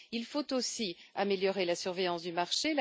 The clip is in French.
Il faut aussi améliorer la surveillance du marché.